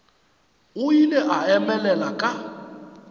o ile a emelela ka